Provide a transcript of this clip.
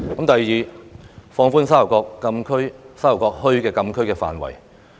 第二，放寬沙頭角墟禁區範圍。